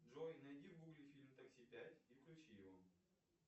джой найди в гугле фильм такси пять и включи его